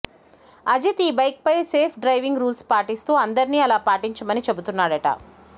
అజిత్ ఈ బైక్ పై safe driving rules పాటిస్తూ అందరిని అలా పాటించమని చెబుతున్నాడట